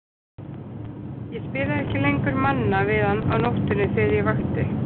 Ég spilaði ekki lengur Manna við hann á nóttunni þegar ég vakti.